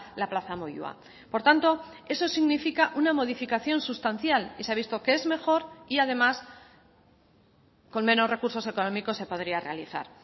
la plaza moyua por tanto eso significa una modificación sustancial y se ha visto que es mejor y además con menos recursos económicos se podría realizar